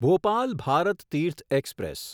Bhopal Bharat Tirth express